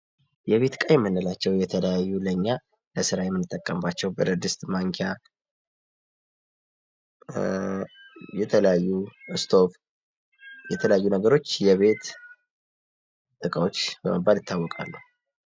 የቤት እቃ የምንላቸው የተለያዩ ለእኛ ለስራ የምንጠቀምባቸው ብረትድስት ማንኪያ የተለያዩ እስቶቭ የተለያዩ ነገሮች የቤት እቃዎች በመባል ይታወቃሉ ።